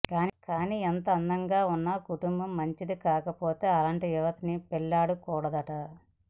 కానీ ఎంత అందంగా ఉన్నా కుటుంబం మంచిది కాకపోతే అలాంటి యువతిని పెళ్లాడకూడదట